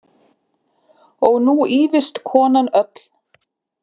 Og nú ýfist konan öll.